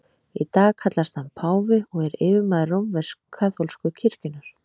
Í dag kallast hann páfi og er yfirmaður rómversk-kaþólsku kirkjunnar.